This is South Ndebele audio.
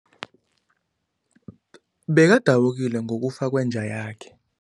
Bekadabukile ngokufa kwenja yakhe.